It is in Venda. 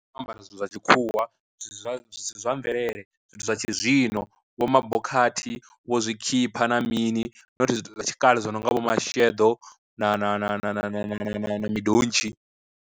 O ambara zwithu zwa tshikhuwa zwisi zwa zwisi zwa mvelele, zwithu zwa tshi zwino vho mabhokhathi vho zwikhipha na mini, nothi zwhithu zwa tshikale zwo nongna vho masheḓo na na na na na na na midontshi.